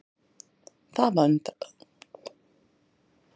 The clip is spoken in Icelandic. Það var undarlegt.